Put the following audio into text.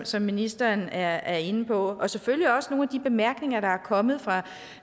som ministeren er inde på og selvfølgelig også med de bemærkninger der er kommet fra